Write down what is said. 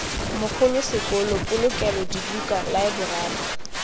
mogolo sekolo polokelo dibuka laeborari